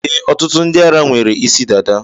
E, ọtụtụ ndị ara nwere isi dada.